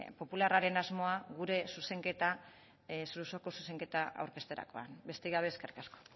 popularraren asmoa gure zuzenketa osoko zuzenketa aurkezterakoan besterik gabe eskerrik asko